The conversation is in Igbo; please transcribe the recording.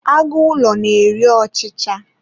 Agụ ụlọ na-eri ọchicha